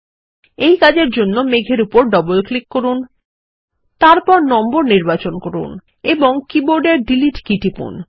এই কাজের জন্য মেঘ এর উপর ডবল ক্লিক করুন তারপর নম্বর নির্বাচন করুন তারপর সংখ্যাটি নির্বাচন করুন এবং কীবোর্ডের মুছুন কী টিপুন